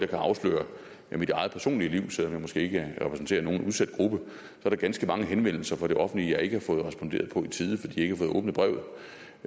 kan afsløre fra mit eget personlige liv selv om jeg måske ikke repræsenterer nogen udsat gruppe at der er ganske mange henvendelser fra det offentlige jeg ikke har fået responderet på i tide fordi